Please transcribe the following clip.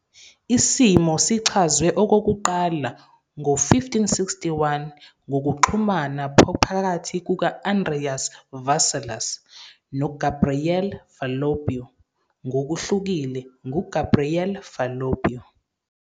Isimo sichazwe okokuqala ngo-1561 ngokuxhumana phakathi kuka- Andreas Vesalius noGabriele Falloppio ngokuhlukile nguGabriele Falloppio.